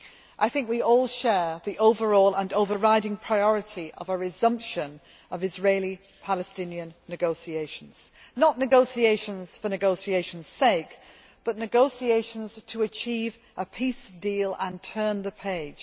I believe we all agree with the overall and overriding priority of a resumption of Israeli Palestinian negotiations not negotiations for negotiations' sake, but negotiations to achieve a peace deal and turn the page.